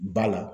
Ba la